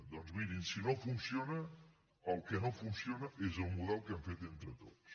doncs mirin si no funciona el que no funciona és el model que hem fet entre tots